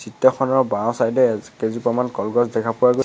চিত্ৰখনৰ বাওঁ চাইড এ কেইজোপামান কলগছ দেখা পোৱা গৈ--